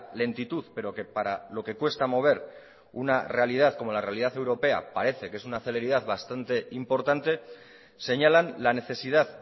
lentitud pero que para lo que cuesta mover una realidad como la realidad europea parece que es una celeridad bastante importante señalan la necesidad